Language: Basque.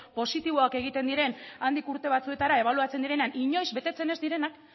positiboak egiten diren handik urte batzuetara ebaluatzen direnean inoiz betetzen ez direnak